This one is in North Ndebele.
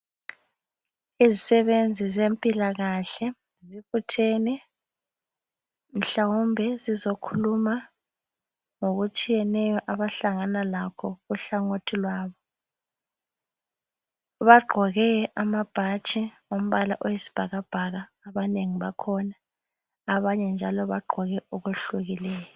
Izisebenzi zempilakahle zibuthene mhlawumbe zizokhuluma ngokutshiyeneyo abahlangana lakho kuhlangothi lwabo. Bagqoke amabhatshi angumbala oyisibhakabhaka abanengi bakhona abanye njalo bagqoke okwehlukileyo.